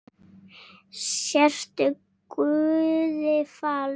Sértu guði falin.